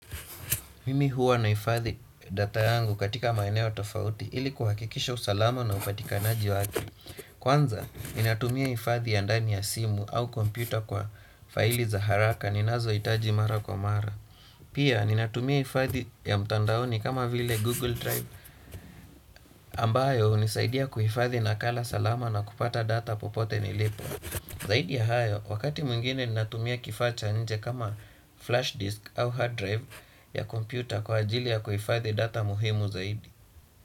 Mimi huwa naifadhi data yangu katika maeneo tofauti ili kuhakikisha usalama na upatikanaji wake. Kwanza, ninatumia ifadhi ya ndani ya simu au computer kwa faili za haraka ninazo itaji mara kwa mara. Pia, ninatumia ifadhi ya mtandaoni kama vile Google Drive Ambayo hunisaidia kuifadhi nakala salama na kupata data popote nilipo. Zaidi ya hayo, wakati mwingine ninatumia kifaa cha nje kama flash disk au hard drive ya kompyuta kwa ajili ya kuhifadhi data muhimu zaidi.